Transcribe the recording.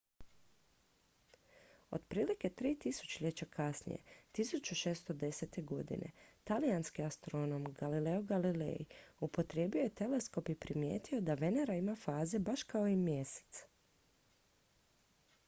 otprilike tri tisućljeća kasnije 1610. godine talijanski astronom galileo galilei upotrijebio je teleskop i primijetio da venera ima faze baš kao i mjesec